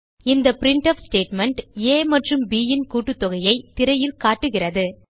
இந்த printf statement a மற்றும் bன் கூட்டுத்தொயைத் திரையில் காட்டுகிறது